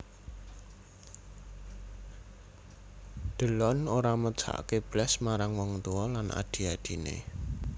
Delon ora mesakke blas marang wong tuwa lan adhi adhine